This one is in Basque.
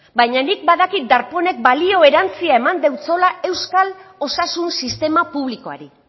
baina nik badakit darpónek balio erantzia eman deutsola euskal osasun sistema publikoari